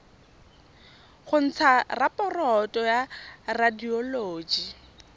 go ntsha raporoto ya radioloji